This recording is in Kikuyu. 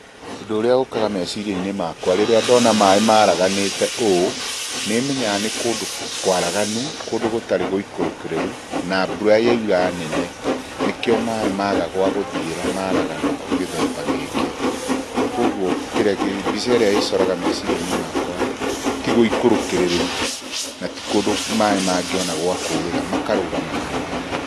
Ũndũ ũrĩa ũkaga meciria-inĩ makwa, rĩrĩa ndona maĩ maraganĩte ũũ, nĩmenyaga nĩ kũndũ kwaraganu, kũndũ gũtarĩ gũikũrũkĩrĩru, na mbura yaura nene. Nĩkĩo maĩ maga gwa gũthiĩra maragana gĩthemba gĩkĩ. Koguo kĩrĩa kĩ, mbica ĩrĩa ĩcoraga meciria-inĩ makwa ti gũikũrũkĩrĩru, na ti kũndũ maĩ mangĩona gwa kũrĩra, makarũgama handũ hamwe.